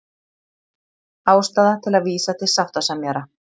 Ástæða til að vísa til sáttasemjara